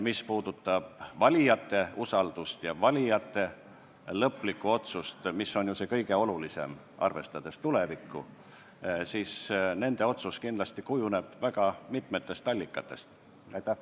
Mis puudutab valijate usaldust ja valijate lõplikku otsust – mis on ju kõige olulisem, arvestades tulevikku –, siis nende otsus kujuneb kindlasti väga mitmete allikate põhjal.